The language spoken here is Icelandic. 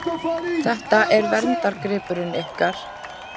Þetta er verndargripurinn ykkar?